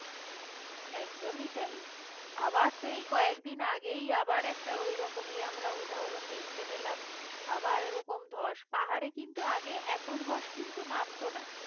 একদমই তাই আবার তো এই কয়েকদিন আগেই আবার একটা ঐরকমই আমরা উদাহরণ দেখতে পেলাম আবার এরকম ধস পাহাড়ে কিন্তু আগে এত ধস কিন্তু নামত না